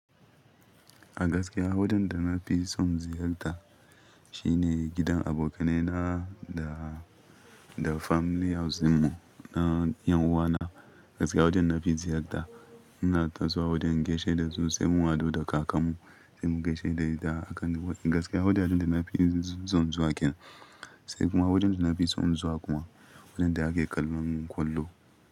A gaskiya, wajen da na fi so in ziyarta shi ne gidan abokaina da, da family house mu na 'yan uwana. Gaskiya wajen da na fi ziyarta, n'na tasowa wajen in gaishe da su sai mun haɗu da kakarmu, sai mu gaishe da ita a kan Gaskiya wajen da na fi so in zuwa kenan, sai kuma wajen da na fi so in zuwa kuwa wajen da ake kallon ƙwallo.